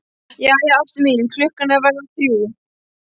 Jæja, ástin mín, klukkan er að verða þrjú.